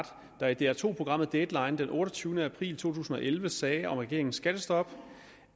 der i dr to programmet deadline den otteogtyvende april to tusind og elleve sagde om regeringens skattestop